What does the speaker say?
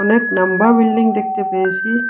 অনেক নম্বা বিল্ডিং দেখতে পেয়েসি।